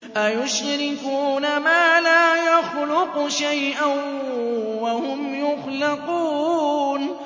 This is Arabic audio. أَيُشْرِكُونَ مَا لَا يَخْلُقُ شَيْئًا وَهُمْ يُخْلَقُونَ